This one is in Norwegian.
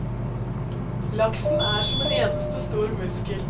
Laksen er som en eneste stor muskel.